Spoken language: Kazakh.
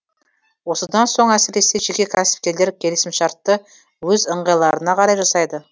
осыдан соң әсіресе жеке кәсіпкерлер келісімшартты өз ыңғайларына қарай жасайды